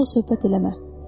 Onunla söhbət eləmə.